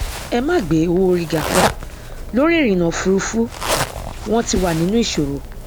ẹ má gbé owóorí ga lórí ìrìnà òfurufú wọn ti wà nínú ìṣòro